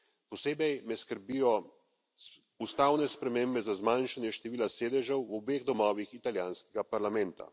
Posebej me skrbijo ustavne spremembe za zmanjšanje števila sedežev v obeh domovih italijanskega parlamenta.